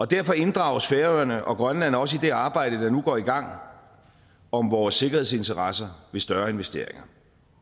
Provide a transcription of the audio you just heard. derfor inddrages færøerne og grønland også i det arbejde der nu går i gang om vores sikkerhedsinteresser ved større investeringer